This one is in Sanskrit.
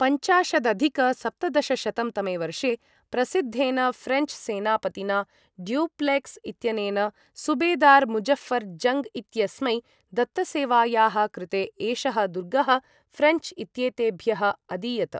पञ्चाशदधिक सप्तदशशतं तमे वर्षे, प्रसिद्धेन ऴ्रेञ्च् सेनापतिना डुप्लेक्स् इत्यनेन सुबेदार् मुज़ऴ्ऴर् जङ्ग् इत्यस्मै दत्तसेवायाः कृते, एषः दुर्गः ऴ्रेञ्च् इत्येतेभ्यः अदीयत।